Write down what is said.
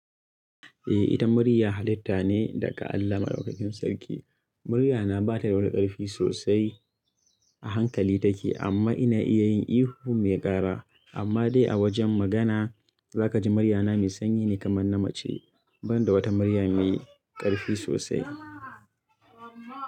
Eh, ita murya halitta ne daga Allah maɗaukakin Sarki. Muryana ba ta da wani ƙarfi sosai, a hankali take amma ina iya yin ihu me ƙara. Amma dai a wajen magana, za ka ji muryana mai sanyi ne kamar na mace ban da wata murya mai ƙarfi sosai.